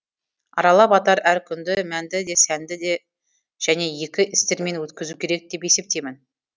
аралап атар әр күнді мәнді де сәнді және игі істермен өткізу керек деп есептеймін